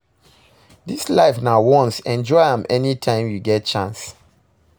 Dis life na once enjoy am anytime you get chance